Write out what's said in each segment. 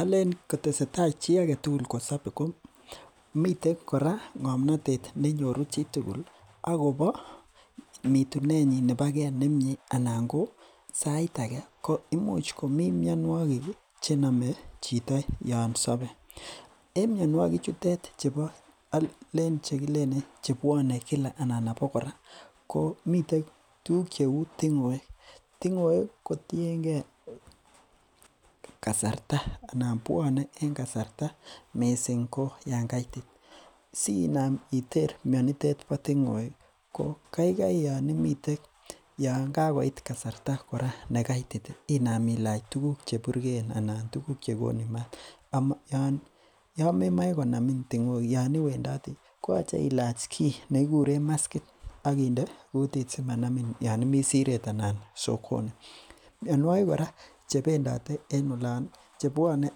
Alen kotesetai kosabe chito komiten kora ng'amnotet konae chitugul akoba mitunenyin neboke nemiee anan ko saait age ko koimuch komii mianogig ih chename chito yoon sabe. En mianiuek chutet alen chebo , chekilenen buane abokora ih miten tukuk cheuu ting'oek, ting'oek kotienge kasarta anan buone en kasarta missing ko yoon kaitit. sinaam iter mianitet bo ting'oek ih , ko kaikai Yoon imiten Yoon kakoit kasarta nekaitit inam ilach tuguk cheburgeen anan inam ilach ingoraik chegonu maat. Yoon memoe Konamin ting'oek Yoon iwendati koyache ilach ki nekikuren maskit akinde kutit simanamin Yoon immi Siret anan sokoni mianikik kora chebendite en olan chepiane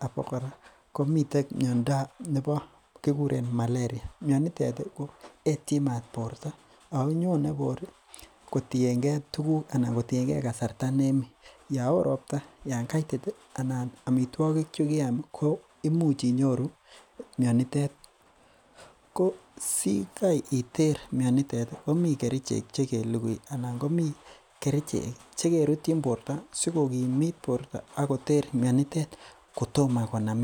abokora komiten en kikuren malaria. mianitet ih koetien maat borta ako nyone kotienge tukuk anan kotienge kasarta nemii, Yoon hooh robta, yaan kaitit ih, anan amituakik chekiam ko imuch inyoru mianitet ko sikaiter mianitet ih komi kerichek chekelugui anan komiten kerichek chekerutien borta sikokimit borto akoter mianitet kotom Konamin.